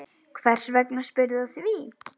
Hvers vegna spyrðu að því?